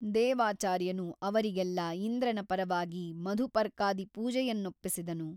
ದೇವಾಚಾರ್ಯನು ಅವರಿಗೆಲ್ಲ ಇಂದ್ರನ ಪರವಾಗಿ ಮಧುಪರ್ಕಾದಿ ಪೂಜೆಯನ್ನೊಪ್ಪಿಸಿದನು.